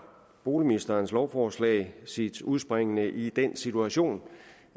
boligministerens lovforslag sit udspring i den situation